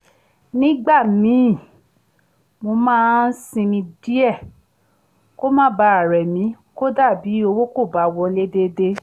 nígbà míì mo máa ń sinmi díẹ̀ kó má bàa rẹ̀ mí kódà bí owó kò bá wọlé déédé